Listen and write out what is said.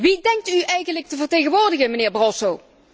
Wie denkt u eigenlijk te vertegenwoordigen, mijnheer Barroso?